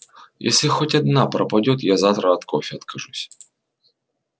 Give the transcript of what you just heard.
если хоть одна пропадёт я завтра от кофе откажусь